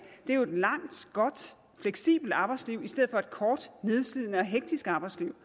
er et langt godt fleksibelt arbejdsliv i stedet for et kort nedslidende og hektisk arbejdsliv